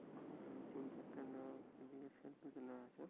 হুম দুই তিনটে লোক এদিকে সেলফি তুলে আছে।